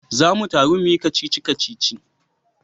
Za mu taru muyi kacici-kacici